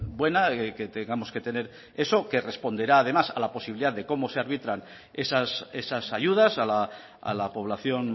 buena que tengamos que tener eso que responderá además a la posibilidad de cómo se arbitran esas ayudas a la población